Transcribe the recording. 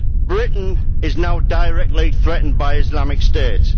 Britain is now directly threatened by Islamic State.